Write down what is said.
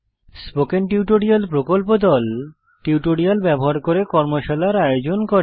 spoken tutorial প্রকল্প দল tutorial ব্যবহার করে কর্মশালার আয়োজন করে